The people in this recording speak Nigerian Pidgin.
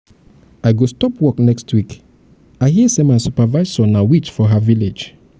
i go stop work next week i hear say my supervisor be witch for her village.